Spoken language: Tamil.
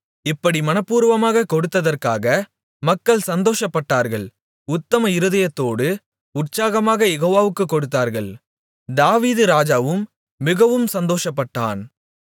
இப்படி மனப்பூர்வமாகக் கொடுத்ததற்காக மக்கள் சந்தோஷப்பட்டார்கள் உத்தம இருதயத்தோடு உற்சாகமாகக் யெகோவாவுக்குக் கொடுத்தார்கள் தாவீது ராஜாவும் மிகவும் சந்தோஷப்பட்டான்